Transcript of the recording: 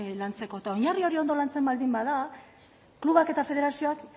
lantzeko oinarri hori ondo lantzen baldin bada klubek eta federazioek